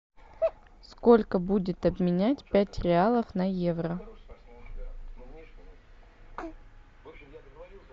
сколько будет обменять пять реалов на евро